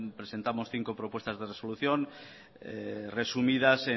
presentamos cinco propuestas de resolución resumidas